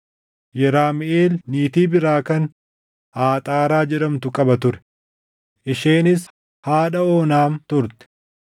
Yeramiʼeel niitii biraa kan Aaxaaraa jedhamtu qaba ture; isheenis haadha Oonaam turte.